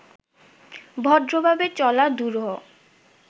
ভদ্রভাবে চলা দুরূহ